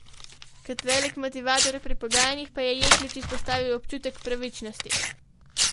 Kot velik motivator pri pogajanjih pa je Jeklič izpostavil občutek pravičnosti.